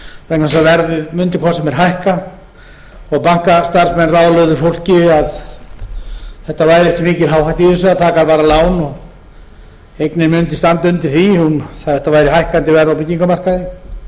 vegna þess að verðið mundi hvort sem er hækka og bankastarfsmenn ráðlögðu fólki að það væri ekki mikil áhætta í því að taka bara lán eignin mundi standa undir því það væri hækkandi verð byggingarmarkaði og